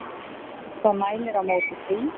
Hvað mælir á móti því?